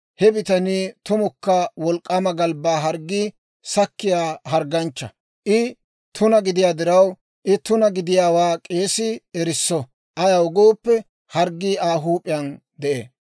he bitanii tumukka wolk'k'aama galbbaa harggii sakkiyaa hargganchcha. I tuna gidiyaa diraw I tuna gidiyaawaa k'eesii erisso; ayaw gooppe harggii Aa huup'iyaan de'ee.